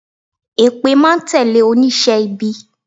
Èpè máa n tẹ̀lé onísé ibi